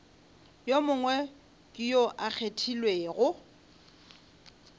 yo mongwe yo a kgethilwego